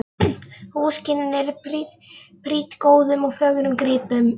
Húsakynnin eru prýdd góðum og fögrum gripum.